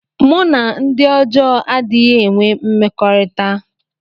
Mụ na ndi njọ adighi enwe mmekọrita.